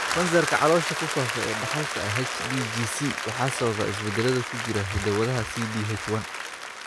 Kansarka caloosha ku faafa ee dhaxalka ah (HDGC) waxaa sababa isbeddellada ku jira hidda-wadaha CDH1.